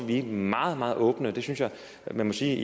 vi meget meget åbne og jeg må sige at